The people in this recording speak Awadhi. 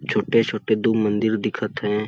छोटे-छोटे दु मंदिल दिखत हे।